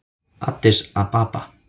Addis Ababa